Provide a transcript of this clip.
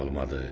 Olmadı.